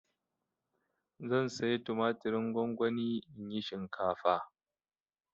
Zan saya tumatirin gongoni in yi shinkafa.